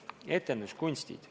Esiteks, etenduskunstid.